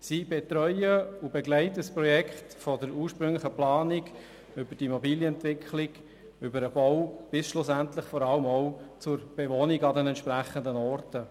Sie betreuen und begleiten ein Projekt von der ursprünglichen Planung über die Immobilienentwicklung und den Bau bis schlussendlich vor allem auch zur Bewohnung an den entsprechenden Orten.